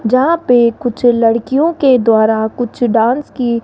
जहां पे कुछ लड़कियों के द्वारा कुछ डांस की--